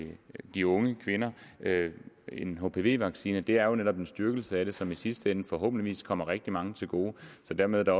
de unge kvinder en hpv vaccine det er jo netop en styrkelse af det som i sidste ende forhåbentlig kommer rigtig mange til gode så dermed er